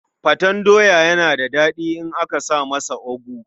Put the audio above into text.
Faten doya yana da faɗi in aka sa masa ogu.